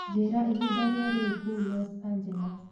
njĩĩra ĩhĩnda rĩa riu kũũ los angels